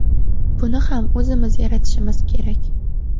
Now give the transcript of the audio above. Buni ham o‘zimiz yaratishimiz kerak.